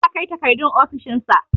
The papers will be submitted to his office